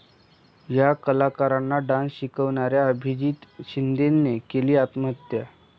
या कलाकारांना डान्स शिकवणाऱ्या अभिजीत शिंदेने केली आत्महत्या